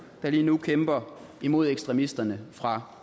lige nu kæmper imod ekstremisterne fra